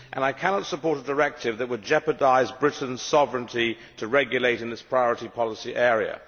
I cannot support a directive that would jeopardise Britain's sovereignty to regulate in this priority policy area.